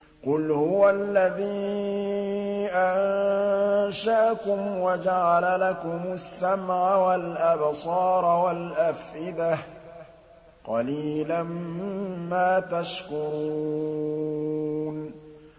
قُلْ هُوَ الَّذِي أَنشَأَكُمْ وَجَعَلَ لَكُمُ السَّمْعَ وَالْأَبْصَارَ وَالْأَفْئِدَةَ ۖ قَلِيلًا مَّا تَشْكُرُونَ